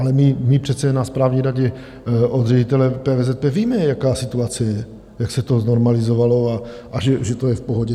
Ale my přece na správní radě od ředitele PVZP víme, jaká situace je, jak se to znormalizovalo a že to je v pohodě.